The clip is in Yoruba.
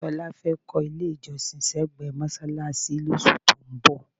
Tọ́lá fẹ́ kọ́ ilé-ìjọsìn sẹ́gbẹ̀ẹ́ mọ́ṣáláṣí lóṣù tó ń bọ̀.